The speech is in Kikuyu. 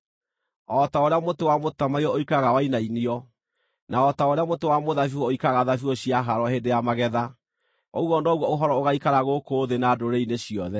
O ta ũrĩa mũtĩ wa mũtamaiyũ ũikaraga wainainio, na o ta ũrĩa mũtĩ wa mũthabibũ ũikaraga thabibũ ciahaarwo hĩndĩ ya magetha, ũguo noguo ũhoro ũgaikara gũkũ thĩ na ndũrĩrĩ-inĩ ciothe.